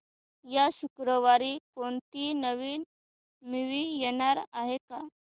या शुक्रवारी कोणती नवी मूवी येणार आहे का